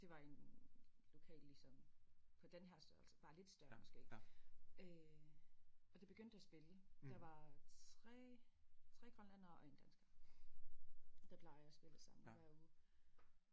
Det var i en lokale ligesom på denne her størrelse bare lidt større måske øh og de begyndte at spille der var 3 3 grønlændere og 1 dansker der plejer at spille sammen hver uge